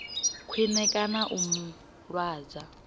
khwine kana u mu lwadza